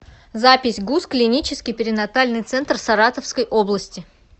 запись гуз клинический перинатальный центр саратовской области